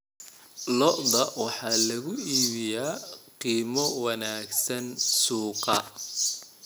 Lo'da lo'da waxaa lagu iibiyaa qiimo wanaagsan suuqa.